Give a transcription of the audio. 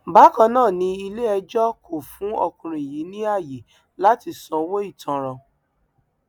bákan náà ni iléẹjọ kò fún ọkùnrin yìí ní ààyè láti sanwó ìtanràn